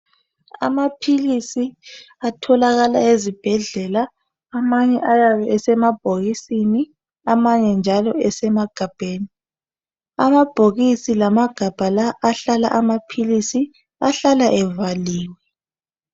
Amaphilisi atholakala ezibhedlela amanye ayabe esemabhokisini amanye njalo emagabheni. Lamabhokisi lamagabha ahlala evaliwe.